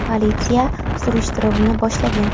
Politsiya surishtiruvni boshlagan.